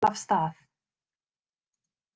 Jeppinn var að fara af stað.